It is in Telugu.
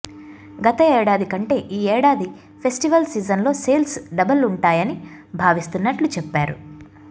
గత ఏడాది కంటే ఈ ఏడాది ఫెస్టివెల్ సీజన్లో సేల్స్ డబుల్ ఉంటాయని భావిస్తున్నట్లు చెప్పారు